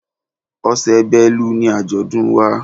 Oṣù Bélú ni àjọ̀dún wa.